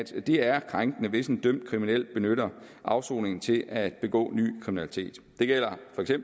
det er krænkende hvis en dømt kriminel benytter afsoningen til at begå ny kriminalitet det gælder